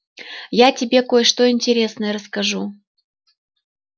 я тебе кое-что интересное расскажу